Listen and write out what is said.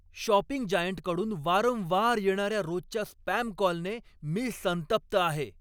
Shopping जायंटकडून वारंवार येणार्या रोजच्या स्पॅम कॉलने मी संतप्त आहे.